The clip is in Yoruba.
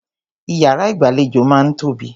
Ìyàrá ìgbàlejò máà ń tóbi.